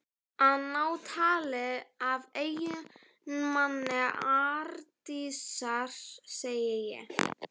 Að ná tali af eiginmanni Arndísar, segi ég.